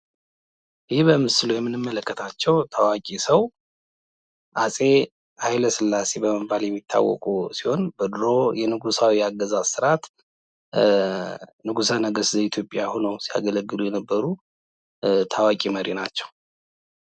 ይህ በምስሉ የምንመለከታቸው ታዋቂ ሰው አጼ ኃይለስላሴ በመባል የሚታወቁ ሲሆን ፤ በድሮዉ የንጉሳዊ አገዛዝ ስርአት ንጉሰ ነገስት ዘኢትዮጵያ ሆነው ሲያገለግሉ የነበሩ ታዋቂ መሪ ናችው።